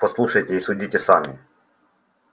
послушайте и судите сами